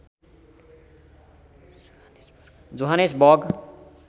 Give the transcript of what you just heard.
Johannes वर्ग